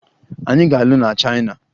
Anyị ga-alụ na Chaina.